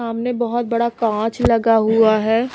सामने बहुत बड़ा कांच लगा हुआ है।